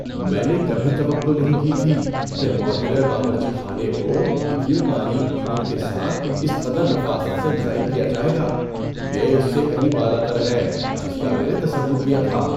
میں نے کبھی توقع نہیں کی تھی کہ ماڈیولر باورچی خانے کو اتنی باریک بینی کے ساتھ اس قدر نفاست سے ڈیزائن کیا جائے گا! یہ اس سے کہیں بالاتر ہے جس کا میں نے تصور کیا تھا۔